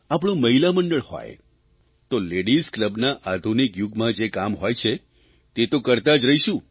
આપણું મહિલા મંડળ હોય તો લેડીઝ કલબનાં આધુનિક યુગનાં જે કામ હોય છે તે તો કરતાં જ રહીશું